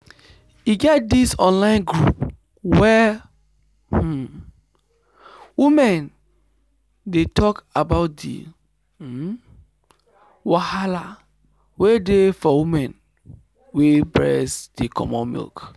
e get this online group where um women dey talk about the um wahala wey dey for women wey breast dey comot milk.